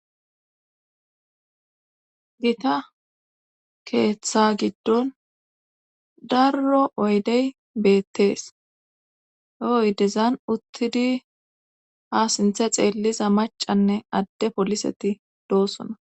Gita keeththaa giddon daaro oydde beettees. He oydezan uttidi ha sintta xeelliza maccanne adde poliseti doosona.